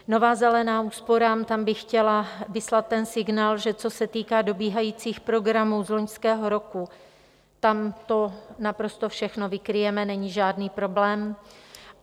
Nová zelená úsporám - tam bych chtěla vyslat ten signál, že co se týká dobíhajících programů z loňského roku, tam to naprosto všechny vykryjeme, není žádný problém.